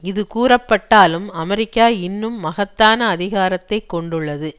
இது கூறப்பட்டாலும் அமெரிக்கா இன்னும் மகத்தான அதிகாரத்தை கொண்டுள்ளது